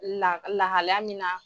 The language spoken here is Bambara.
La lahalaya min na